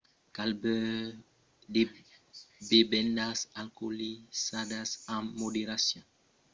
cal beure de bevendas alcoolizadas amb moderacion. l'alcoòl afècta cadun diferentament e conéisser sos limits es fòrça important